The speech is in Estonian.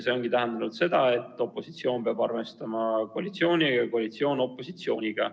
See ongi tähendanud seda, et opositsioon peab arvestama koalitsiooniga ja koalitsioon opositsiooniga.